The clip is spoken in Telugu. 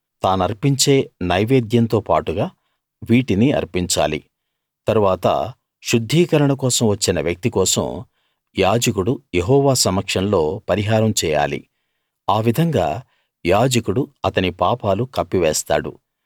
తానర్పించే నైవేద్యంతో పాటుగా వీటిని అర్పించాలి తరువాత శుద్ధీకరణ కోసం వచ్చిన వ్యక్తి కోసం యాజకుడు యెహోవా సమక్షంలో పరిహారం చేయాలి ఆ విధంగా యాజకుడు అతని పాపాలు కప్పివేస్తాడు